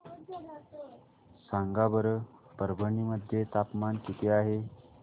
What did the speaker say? सांगा बरं परभणी मध्ये तापमान किती आहे